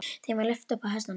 Þeim var lyft upp á hestana.